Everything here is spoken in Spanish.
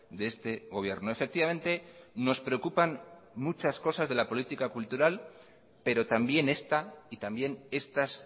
de este gobierno efectivamente nos preocupan muchas cosas de la política cultural pero también esta y también estas